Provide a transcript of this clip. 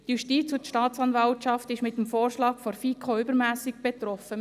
Die Justiz und die Staatsanwaltschaft sind durch den Vorschlag der FiKo übermässig betroffen.